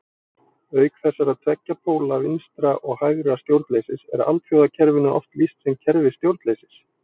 Auk þessara tveggja póla vinstra- og hægra stjórnleysis er alþjóðakerfinu oft lýst sem kerfi stjórnleysis.